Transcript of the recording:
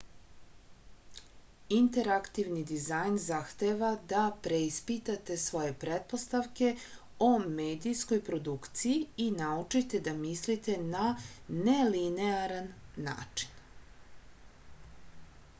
interaktivni dizajn zahteva da preispitate svoje pretpostavke o medijskoj produkciji i naučite da mislite na nelinearan način